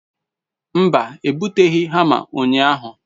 mba, ebuteghi hama unyahu